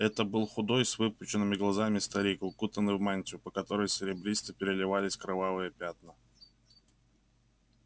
это был худой с выпученными глазами старик укутанный в мантию по которой серебристо переливались кровавые пятна